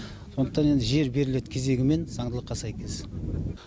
сондықтан енді жер беріледі кезегімен заңдылыққа сәйкес